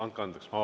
Andke andeks!